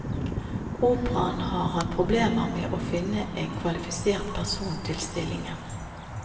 Operaen har hatt problemer med å finne en kvalifisert person til stillingen.